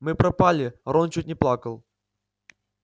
мы пропали рон чуть не плакал